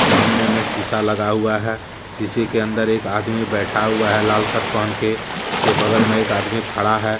सामने में शीशा लगा हुआ है शीशे के अंदर एक आदमी बैठा हुआ है लाल शर्ट पहन के उसके बगल में एक आदमी खड़ा है।